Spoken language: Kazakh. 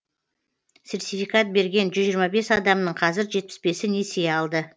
сертификат берген жүз жиырма бес адамның қазір жетпіс бесі несие алды